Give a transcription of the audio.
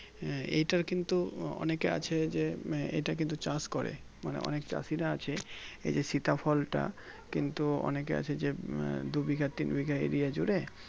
এটার কিন্তু ওনাকে আছে যে এটা কিন্তু চাষ করে মানে অনেক চাষিরা আছে এই যে সীতা ফলটা কিন্তু ওনাকে আছে যে দুই বিঘা তিন বিঘা Area জুড়ে